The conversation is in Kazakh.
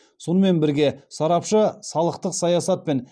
сонымен бірге сарапшы салықтық саясат пен